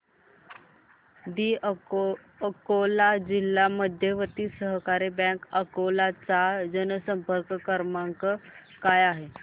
दि अकोला जिल्हा मध्यवर्ती सहकारी बँक अकोला चा जनसंपर्क क्रमांक काय आहे